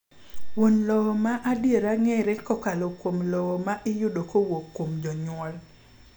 Wuon lowo ma adiera ng'ere kokalo kuom lowo ma iyudo kowuok kuom jonyuol.